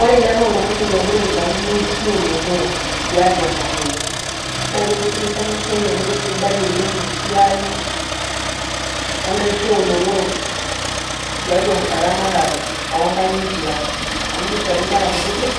Ore ele loltung'ani logira aitau inaishi olotorok tiatua matoi. Na kitishipisho enasiai amu kesidai oleng esiai enaisho olotorok, tiatua eramatare onkang'itie ang',amu kishori nkera kutitik,